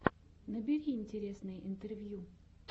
набери интересные интервью